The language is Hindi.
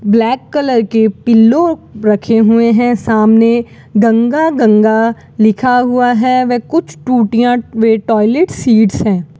ब्लैक कलर के पिल्लो रखे हुए हैं सामने गंगा गंगा लिखा हुआ है व कुछ टूटियां व टॉयलेट सीट्स हैं।